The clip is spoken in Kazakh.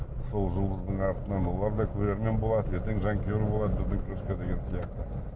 сол жұлдыздың артынан олар да көрермен болады ертең жанкүйер болады біздің күреске деген сияқты